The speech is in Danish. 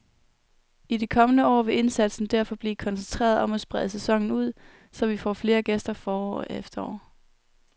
I de kommende år vil indsatsen derfor blive koncentreret om at sprede sæsonen ud, så vi får flere gæster forår og efterår.